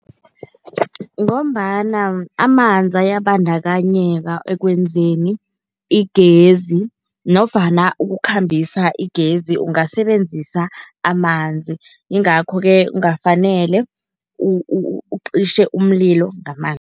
Ngombana amanzi ayabandakanyeka ekwenzeni igezi nofana ukukhambisa igezi ungasebenzisa amanzi, yingakho-ke kungafanele ucishe umlilo